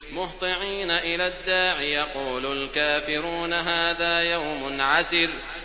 مُّهْطِعِينَ إِلَى الدَّاعِ ۖ يَقُولُ الْكَافِرُونَ هَٰذَا يَوْمٌ عَسِرٌ